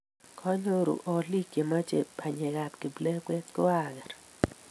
kenyoru oliik che mechei banyekab kiplekwet ko ang'er